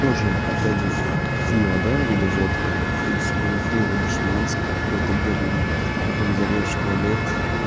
тоже опять же пиво да или водка если пиво дешманское какое-то голимое то ты потом взорвёшь туалет